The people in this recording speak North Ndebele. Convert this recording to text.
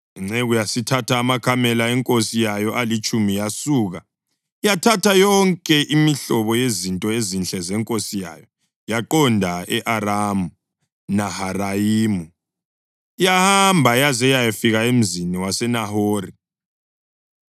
Inceku yasithatha amakamela enkosi yayo alitshumi yasuka, yathatha yonke imihlobo yezinto ezinhle zenkosi yayo. Yaqonda e-Aramu Naharayimu, yahamba yaze yayafika emzini waseNahori.